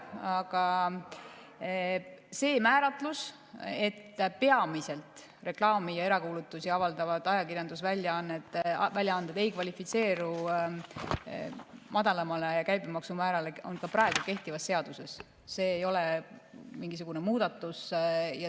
Aga see määratlus, et peamiselt reklaami ja erakuulutusi avaldavad ajakirjandusväljaanded ei kvalifitseeru madalamale käibemaksumäärale, on ka praegu kehtivas seaduses olemas, see ei ole mingisugune muudatus.